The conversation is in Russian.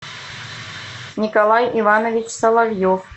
николай иванович соловьев